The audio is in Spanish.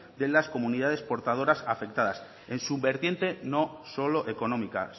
de las comunidades portadoras afectadas en su vertiente no solo económica